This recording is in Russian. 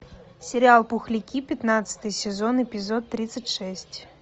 сериал пухляки пятнадцатый сезон эпизод тридцать шесть